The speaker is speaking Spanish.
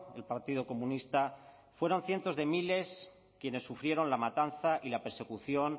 el partido comunista fueron cientos de miles quienes sufrieron la matanza y la persecución